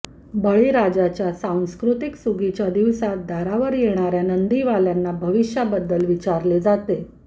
बळीराजाच्या संस्कृतीत सुगीच्या दिवसांत दारावर येणार्या नंदीवाल्यांना भविष्याबद्दल विचारले जाते